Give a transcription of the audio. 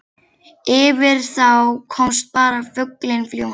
Yfir þá komst bara fuglinn fljúgandi.